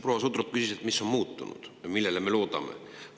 Proua Sutrop küsis, mis on muutunud ja millele me loodame.